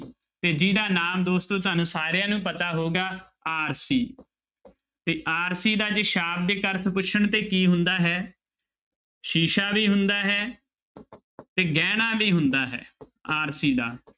ਤੇ ਜਿਹਦਾ ਨਾਮ ਦੋਸਤੋ ਤੁਹਾਨੂੰ ਸਾਰਿਆਂ ਨੂੰ ਪਤਾ ਹੋਉਗਾ ਆਰਸੀ ਤੇ ਆਰਸੀ ਦਾ ਜੇ ਸ਼ਾਬਦਿਕ ਅਰਥ ਪੁੱਛਣ ਤੇ ਕੀ ਹੁੰਦਾ ਹੈ ਸ਼ੀਸ਼ਾ ਵੀ ਹੁੰਦਾ ਹੈ ਤੇ ਗਹਿਣਾ ਵੀ ਹੁੰਦਾ ਹੈ ਆਰਸੀ ਦਾ